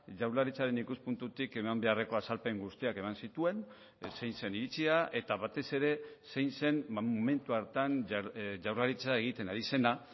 jaurlaritzaren ikuspuntutik eman beharreko azalpen guztiak eman zituen zein zen iritzia eta batez ere zein zen momentu hartan jaurlaritza egiten ari zena